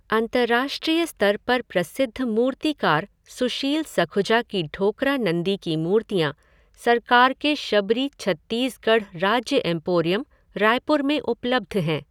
अंतर्राष्ट्रीय स्तर पर प्रसिद्ध मूर्तिकार सुशील सखुजा की ढोकरा नंदी की मूर्तियाँ सरकार के शबरी छत्तीसगढ़ राज्य एम्पोरियम, रायपुर में उपलब्ध हैं।